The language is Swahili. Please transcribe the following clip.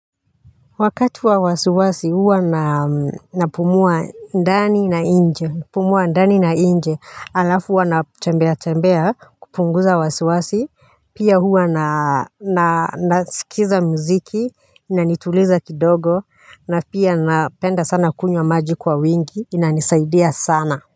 Wakati wa wasiwasi huwa na, napumua ndani na nje napumua ndani na nje, alafu huwa natembea tembea kupunguza wasiwasi pia huwa na na nasikiza muziki inanituliza kidogo na pia napenda sana kunywa maji kwa wingi inanisaidia sana.